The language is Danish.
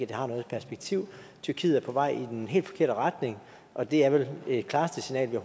det har noget perspektiv tyrkiet er på vej i den helt forkerte retning og det er vel det klareste signal vi